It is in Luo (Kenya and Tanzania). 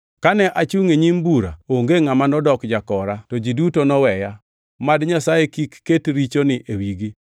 Kane achungʼ e nyim bura, onge ngʼama nodok jakora, to ji duto noweya. Mad Nyasaye kik ket richoni e wigi!